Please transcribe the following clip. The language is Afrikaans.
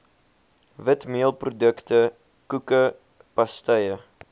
witmeelprodukte koeke pastye